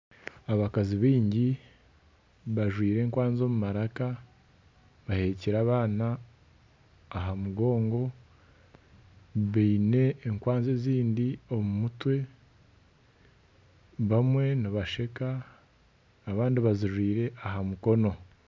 Abakazi baingi bajwire enkwanzi omu maraka bahekyire abaana aha mugongo baine enkwanzi ezindi omu mutwe bamwe nibasheka abandi bazijwire aha mukono.